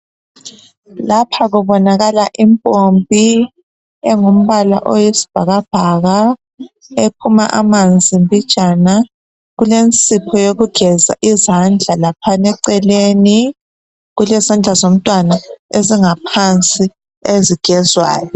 Lapha kubonakala impompi engumbala oyisibhakabhaka ephuma amanzi mbijana. Kulensipho yokugeza izandla laphana eceleni. Kulezandla zomntwana ezingaphansi ezigezwayo.